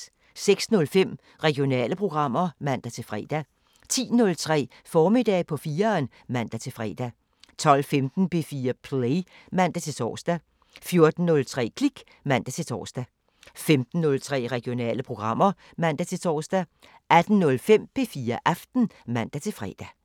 06:05: Regionale programmer (man-fre) 10:03: Formiddag på 4'eren (man-fre) 12:15: P4 Play (man-tor) 14:03: Klik (man-tor) 15:03: Regionale programmer (man-tor) 18:05: P4 Aften (man-fre)